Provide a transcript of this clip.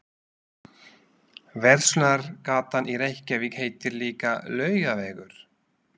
Verslunargatan í Reykjavík heitir líka Laugavegur.